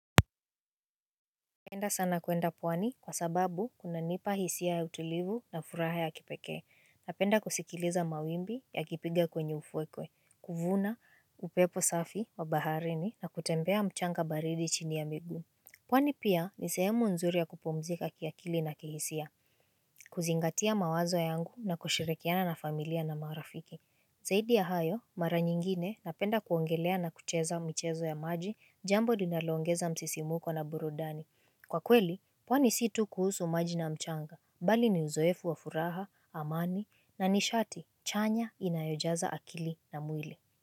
Napenda sana kuenda pwani kwa sababu kunanipa hisia ya utulivu na furaha ya kipekee. Napenda kusikiliza mawimbi yakipiga kwenye ufukwe, kuvuna, upepo safi wa baharini na kutembea mchanga baridi chini ya miguu. Pwani pia ni sehemu nzuri ya kupumzika kiakili na kihisia, kuzingatia mawazo yangu na kushirikiana na familia na marafiki. Zaidi ya hayo, mara nyingine napenda kuongelea na kucheza michezo ya maji jambo linaloongeza msisimuko na burudani. Kwa kweli, pwani situ kuhusu maji na mchanga, bali ni uzoefu wa furaha, amani, na nishati chanya inayojaza akili na mwili.